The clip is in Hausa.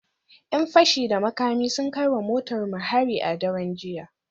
‘Yan fashi da makami sun kai wa motar mu hari a daren jiya